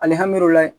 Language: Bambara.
Alihamudulila